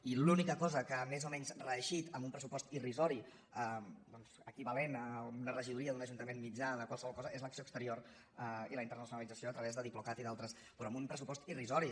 i l’única cosa que ha més o menys reeixit amb un pressupost irrisori doncs equivalent a una regidoria d’un ajuntament mitjà de qualsevol cosa és l’acció exterior i la internacionalització a través de diplocat i d’altres però amb un pressupost irrisori